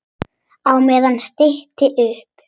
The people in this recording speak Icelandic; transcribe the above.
Á meðan stytti upp.